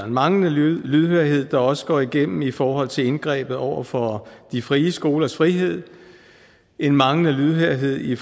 manglende lydhørhed der også går igennem i forhold til indgrebet over for de frie skolers frihed en manglende lydhørhed i